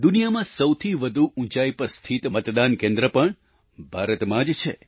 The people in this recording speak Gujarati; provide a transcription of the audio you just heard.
દુનિયામાં સૌથી વધુ ઉંચાઈ પર સ્થિત મતદાન કેન્દ્ર પણ ભારતમાં જ છે